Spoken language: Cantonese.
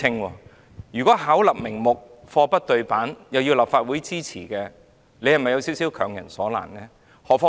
反之，如今巧立名目、貨不對辦，但又要求立法會支持，這是否有點強人所難呢？